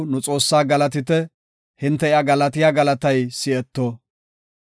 Asaw, nu Xoossaa galatite; hinte iya galatiya galatay si7etto.